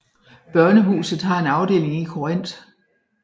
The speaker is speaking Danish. Børnehuset har en afdeling i Korinth